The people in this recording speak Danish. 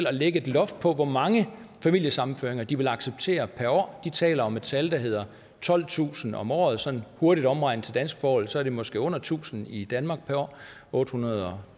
at lægge et loft på hvor mange familiesammenføringer de vil acceptere per år de taler om et tal der hedder tolvtusind om året sådan hurtigt omregnet til danske forhold er det måske under tusind i danmark per år otte hundrede og